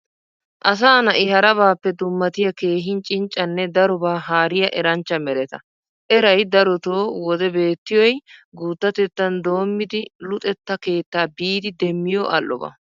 Asa na'i harabaappe dummatiya keehin cinccanne darobaa haariya eranchcha mereta. Erayi darotoo wode beettiyoy guuttatettan doommidi luxetta keetta biidi demmiyo al''oba.